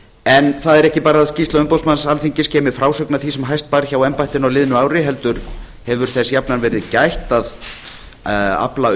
en það er ekki bara að skýrsla umboðsmanns alþingis geymi frásögn af því sem hæst bar hjá embættinu á liðnu ári heldur hefur þess jafnan verið gætt að afla